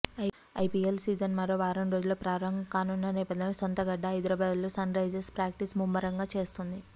IPL season మరో వారం రోజుల్లో ప్రారంభం కానున్న నేపథ్యంలో సొంతగడ్డ హైదరాబాద్లో సన్ రైజర్స్ ప్రాక్టీస్ ముమ్మరంగా చేస్తోంది